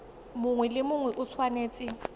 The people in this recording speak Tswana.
mongwe le mongwe o tshwanetse